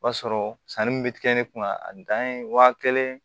O b'a sɔrɔ sanni min bɛ kɛ ne kunna a dan ye waa kelen